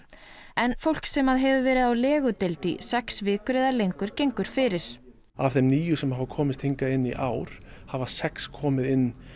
en fólk sem hefur verið á legudeild í sex vikur eða lengur gengur fyrir af þeim níu sem að hafa komist hingað inn í ár hafa sex komist inn